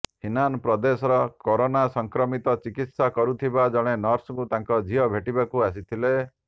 Henan ପ୍ରଦେଶର corona ସଂକ୍ରମିତକୁ ଚିକିତ୍ସା କରୁଥିବା ଜଣେ ନର୍ସଙ୍କୁ ତାଙ୍କ ଝିଅ ଭେଟିବାକୁ ଆସିଥିଲେ